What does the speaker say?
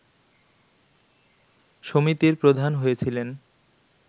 সমিতির প্রধান হয়েছিলেন